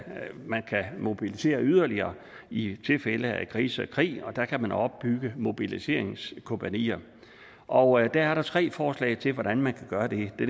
man kan mobilisere yderligere i tilfælde af krise og krig og at man kan opbygge mobiliseringskompagnier og der er tre forslag til hvordan man kan gøre det det